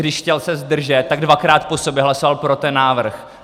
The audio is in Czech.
Když se chtěl zdržet, tak dvakrát po sobě hlasoval pro ten návrh.